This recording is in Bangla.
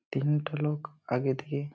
তিনটে লোক আগে থেকে --